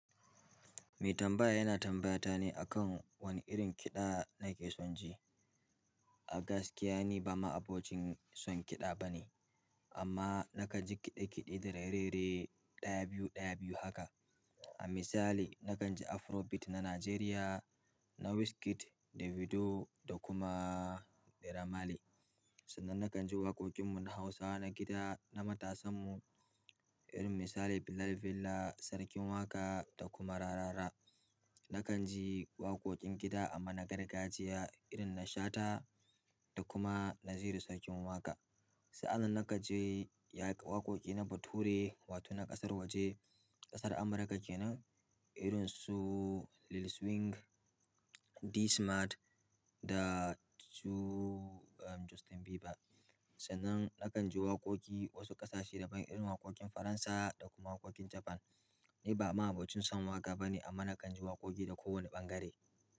Mai tambaya yana tambayata ne akan wane irin kiɗa nake son ji. A gaskiya ni ba ma'abocin son kiɗa bane amma na kan ji kiɗe-kiɗe da raye-raye ɗaya biyu ɗaya biyu haka a misali, na kan ji afrobeat na Najeriya na Wizkid, Davido da kuma Remaile. Sannan na kan ji waƙoƙin mu na Hausa na gida na matasan mu, irin misali, Billal Villa, Sarkin Waka da kuma Rarara. Na kan ji waƙoƙin gida amma na gargajiya irin na Shata da kuma Naziru Sarkin Waka. Sa'annan na kan ji waƙoƙi na bature wato na ƙasar waje ƙasar Amurika kenan irin su Li swing D smart da su aaa Justin Bieber. Sannan na kan ji waƙoƙi wasu ƙasashe daban irin waƙoƙin Faransa da kuma waƙoƙin Japan. Ni ba ma'abocin son waƙa bane amma na kan ji waƙoƙi da kowane ɓangare.